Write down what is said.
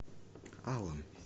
алан